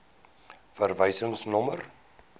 verwysingsnommer